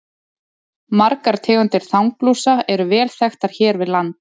Margar tegundir þanglúsa eru vel þekktar hér við land.